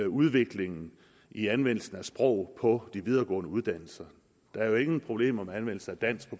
udviklingen i anvendelsen af sprog på de videregående uddannelser der er jo ingen problemer med anvendelse af dansk